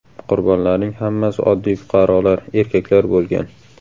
Qurbonlarning hammasi oddiy fuqarolar, erkaklar bo‘lgan.